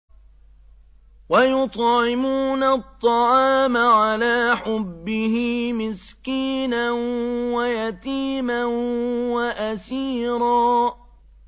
وَيُطْعِمُونَ الطَّعَامَ عَلَىٰ حُبِّهِ مِسْكِينًا وَيَتِيمًا وَأَسِيرًا